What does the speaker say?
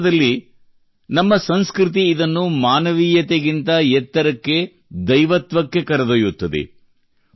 ವಾಸ್ತವದಲ್ಲಿ ನಮ್ಮ ಸಂಸ್ಕೃತಿ ಇದನ್ನು ಮಾನವೀಯತೆಗಿಂತ ಎತ್ತರಕ್ಕೆ ದೈವತ್ವಕ್ಕೆ ಕರೆದೊಯ್ಯುತ್ತದೆ